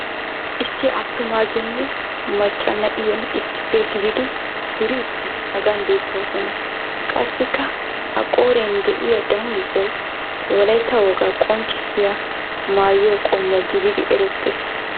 issi attumaagenne macca na'iya issippe gididi duriidi hagan beetoosona. qassikka a qooriyan de'iya danguzzay wolaytta wogaa qonccissiya maayo qommo gididi eretees.